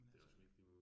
Men altså